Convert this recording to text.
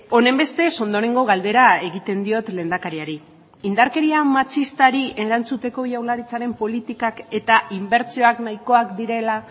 honenbestez ondorengo galdera egiten diot lehendakariari indarkeria matxistari erantzuteko jaurlaritzaren politikak eta inbertsioak nahikoak direla